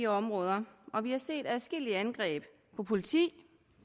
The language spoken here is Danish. områder og vi har set adskillige angreb på politi